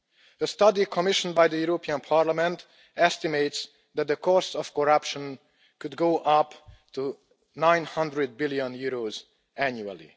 A study commissioned by the European Parliament estimates that the cost of corruption could go up to EUR 900 billion annually.